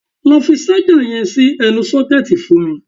Lọ fi ṣájà yẹn sí ẹnu sọ́kẹ̀tì fún mi!